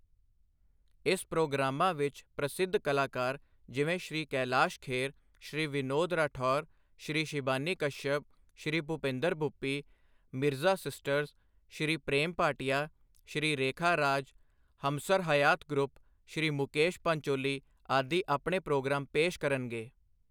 ਇਸ ਪ੍ਰੋਗਰਾਮਾਂ 'ਚ ਪ੍ਰਸਿੱਧ ਕਲਾਕਾਰ ਜਿਵੇਂ ਸ਼੍ਰੀ ਕੈਲਾਸ਼ ਖੇਰ, ਸ਼੍ਰੀ ਵਿਨੋਦ ਰਾਠੌਰ, ਸ਼੍ਰੀ ਸ਼ਿਬਾਨੀ ਕਸ਼ਅਪ, ਸ਼੍ਰੀ ਭੂਪੇਂਦਰ ਭੁੱਪੀ, ਮਿਰਜ਼ਾ ਸਿਸਟਰਸ, ਸ਼੍ਰੀ ਪ੍ਰੇਮ ਭਾਟੀਆ, ਸ਼੍ਰੀ ਰੇਖਾ ਰਾਜ, ਹਮਸਰ ਹਯਾਤ ਗਰੁਪ, ਸ਼੍ਰੀ ਮੁਕੇਸ਼ ਪਾਂਚੋਲੀ ਆਦਿ ਆਪਣੇ ਪ੍ਰੋਗਰਾਮ ਪੇਸ਼ ਕਰਨਗੇ।